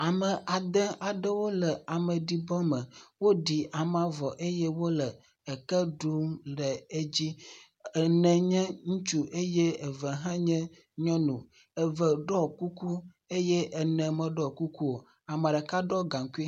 Ame ade aɖewo le ameɖibɔme. Woɖi amea vɔ eye wole eke ɖum le edzi. Ene nye ŋutsu eye eve hã nye nyɔnu. Eve ɖɔ kuku eye ene meɖɔ kuku o. ame ɖeka ɖɔ gaŋkui.